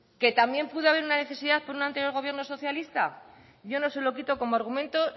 que también puede haber una necesidad con un anterior gobierno socialista yo no se lo quito como argumento